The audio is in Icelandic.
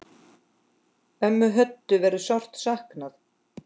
Ömmu Hönnu verður sárt saknað.